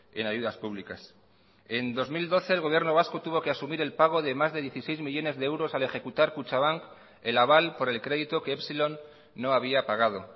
en ayudas públicas en dos mil doce el gobierno vasco tuvo que asumir el pago de más de dieciséis millónes de euros al ejecutar kutxabank el aval por el crédito que epsilon no había pagado